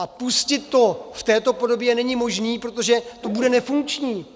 A pustit to v této podobě není možné, protože to bude nefunkční.